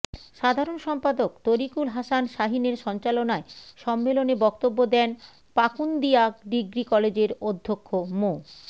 সাধারণ সম্পাদক তরীকুল হাসান শাহীনের সঞ্চালনায় সম্মেলনে বক্তব্য দেন পাকুন্দিয়া ডিগ্রি কলেজের অধ্যক্ষ মো